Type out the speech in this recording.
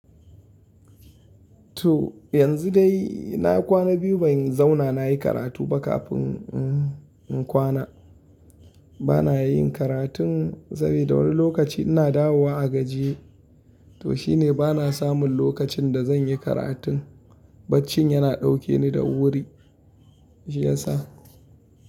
To yanzu dai na kwana biyu ban zauna na yi karatu ba kafin in kwana. Bana yin karatun saboda wani lokaci ina dawowa a gajiye. To shine bana samun lokacin da zan yi karatun. Baccin yana dauke ni da wuri, shi ya sa.